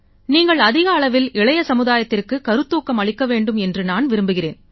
நீங்கள் அதிக அளவில் இளைய சமுதாயத்துக்கு கருத்தூக்கம் அளிக்க வேண்டும் என்று நான் விரும்புகிறேன்